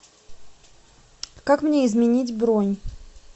как мне изменить бронь